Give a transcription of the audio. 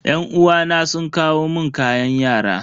Yan uwana sun kawo mun kayan yara.